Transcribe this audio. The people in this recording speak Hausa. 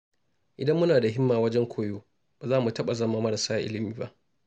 Idan muna da himma wajen koyo, ba za mu taɓa zama marasa ilimi ba.